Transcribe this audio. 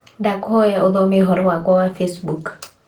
Nĩndakũhoya ũthome ũhoro wakwa wa facebook